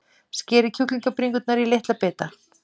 Skerið kjúklingabringurnar í litla bita.